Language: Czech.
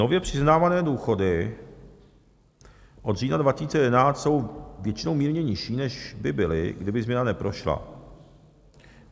Nově přiznávané důchody od října 2011 jsou většinou mírně nižší, než by byly, kdyby změna neprošla.